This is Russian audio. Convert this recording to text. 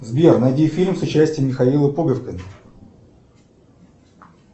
сбер найди фильм с участием михаила пуговкина